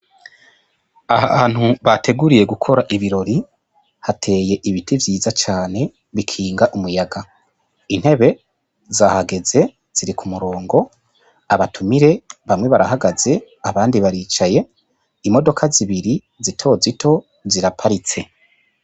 Ahantu bateguriye gukora ibirori hateye ibiti vyiza cane bikinga umuyaga intebe zahageze ziri ku murongo abatumire bamwe barahagaze abandi baricaye imodoka zibiri zitozito ziraparitse.